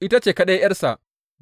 Ita ce kaɗai ’yarsa.